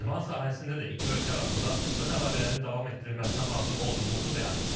İdman sahəsində də iki ölkə arasında sıx əlaqələrin davam etdirilməsinə hazır olduğumuzu bəyan etdik.